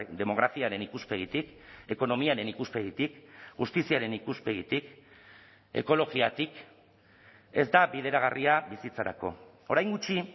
demografiaren ikuspegitik ekonomiaren ikuspegitik justiziaren ikuspegitik ekologiatik ez da bideragarria bizitzarako orain gutxi